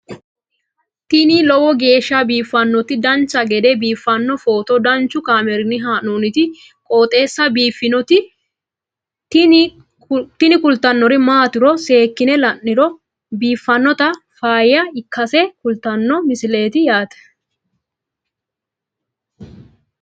tini lowo geeshsha biiffannoti dancha gede biiffanno footo danchu kaameerinni haa'noonniti qooxeessa biiffannoti tini kultannori maatiro seekkine la'niro biiffannota faayya ikkase kultannoke misileeti yaate